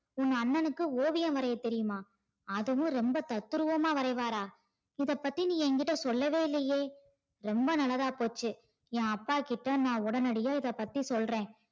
உங்க அண்ணனுக்கு ஓவியம் வரைய தெரியுமா அதவும் ரொம்ப தத்துரூவமா வரைவாரா இத பத்தி நீ என்கிட்ட சொல்லவே இல்லையே ரொம்ப நல்லதா போச்சி ஏன் அப்பாகிட்ட நா உடனடியா இத பத்தி சொல்ற